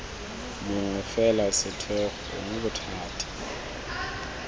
mongwe fela setheo gongwe bothati